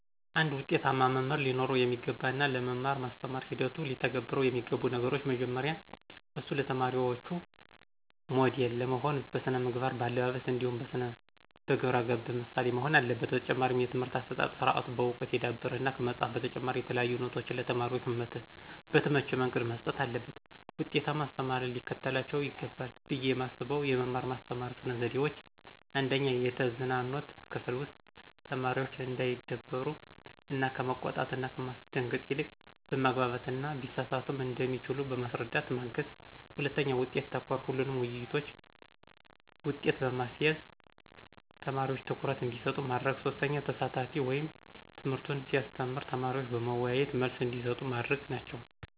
አንድ ውጤታማ መምህር ሊኖረው የሚገባ እና ለመማር ማስተማር ሂደቱ ሊተገብረው የሚገቡ ነገሮች። መጀመሪያ እሱ ለተማሪዎቹ ሞዴል ለመሆን በስነ መግባር, በአለባበስ ,እንዲሁም በግብረገብነት ምሳሌ መሆን አለበት። በተጨማሪም የትምህርት አሠጣጥ ስርአቱ በዕውቀት የዳበረ እና ከመፅሀፍ በተጨማሪ የተለያዩ ኖቶችን ለተማሪዎች በተመቸ መንገድ መስጠት አለበት። ውጤታማ አስተማሪ ሊከተላቸው ይገባል ብየ የማስበው የመማር ማስተማር ስነ ዘዴዎች:- 1/የተዝናኖት ክፍል ውስጥ ተማሪዎች እንዳይደበሩ እና ከመቆጣት እና ከማስደንገጥ ይልቅ በማግባባት እና ቢሳሳቱም እንደሚችሉ በማስረዳት ማገዝ 2/ውጤት ተኮር ሁሉንም ውይይቶች ውጤት በመያዝ ተማሪዎች ትኩረት እንዲሰጡ ማድረግ። 3/አሳታፊ ወይም ትምህርቱን ሲያስተምር ተማሪዎች በመዎያየት መልስ እንዲሰጡ ማድረግ ናቸው።